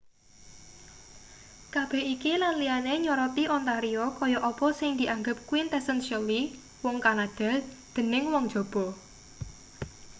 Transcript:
kabeh iki lan liyane nyoroti ontario kaya apa sing dianggep quintessentially wong kanada dening wong njaba